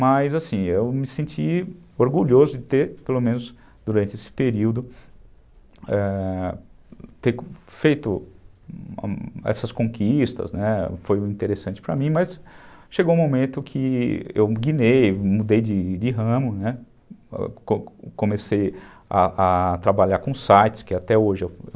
Mas assim, eu me senti orgulhoso de ter, pelo menos durante esse período, ãh, ter feito essas conquistas, né, foi interessante para mim, mas chegou um momento que eu guinei, mudei de ramo, né, comecei a trabalhar com sites, que até hoje eu eu